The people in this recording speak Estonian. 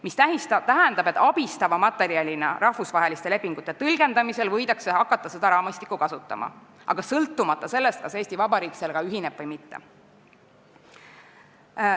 See tähendab, et seda raamistikku võidakse hakata kasutama rahvusvaheliste lepingute tõlgendamisel abistava materjalina, sõltumata sellest, kas Eesti Vabariik sellega ühineb või mitte.